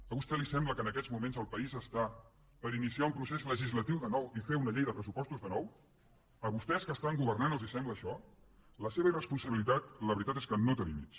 a vostè li sembla que en aquests moments els país està per iniciar un procés legislatiu de nou i fer una llei de pressupostos de nou a vostès que estan governant els sembla això la seva irresponsabilitat la veritat és que no té límits